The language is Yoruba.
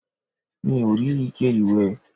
mi ò rí ike ìwẹ̀